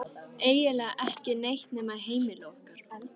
Eiginlega ekki neitt nema heimili okkar.